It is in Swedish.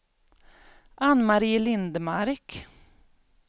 Ann-Mari Lindmark